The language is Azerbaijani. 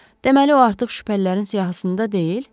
Deməli o artıq şübhəlilərin siyahısında deyil?